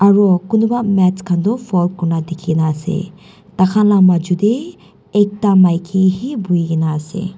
kunuba mats khan du fold kurna dikhina asey takhan la maju deh ekta maiki he bhui kina asey.